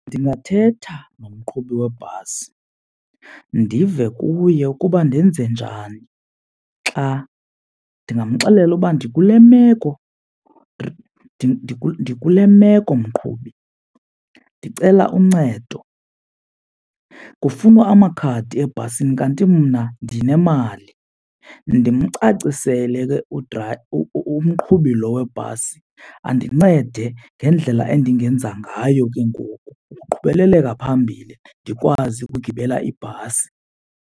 Ndingathetha nomqhubi webhasi ndive kuye ukuba ndenze njani xa, ndingamxelela uba ndikule meko, ndikule meko mqhubi ndicela uncedo. Kufunwa amakhadi ebhasini kanti mna ndinemali. Ndimcacisele ke umqhubi lo webhasi andincede ngendlela endingenza ngayo ke ngoku ukuqhubeleleka phambili ndikwazi ukugibela ibhasi.